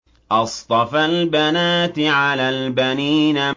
أَصْطَفَى الْبَنَاتِ عَلَى الْبَنِينَ